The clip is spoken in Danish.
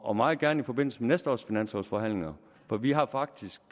og meget gerne i forbindelse med næste års finanslovforhandlinger for vi har faktisk